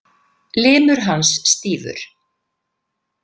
Limur hans stífur.